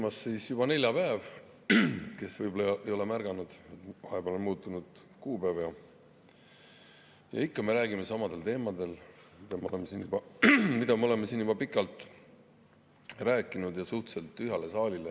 On käimas juba neljapäev, kes võib-olla ei ole märganud, vahepeal on muutunud kuupäev ja ikka me räägime samadel teemadel, mida me oleme siin juba pikalt arutanud, ja suhteliselt tühjale saalile.